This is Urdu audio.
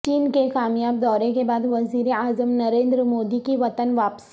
چین کے کامیاب دورے کے بعد وزیر اعظم نریندر مودی کی وطن واپسی